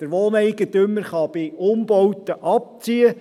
Der Wohneigentümer kann bei Umbauten abziehen.